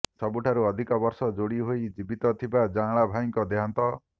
ସବୁଠାରୁ ଅଧିକ ବର୍ଷ ଯୋଡି ହୋଇ ଜୀବିତ ଥିବା ଜାଆଁଳା ଭାଇଙ୍କ ଦେହାନ୍ତ